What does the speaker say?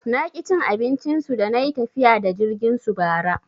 Naki cin abincin su dana yi tafiya da jirgin su bara.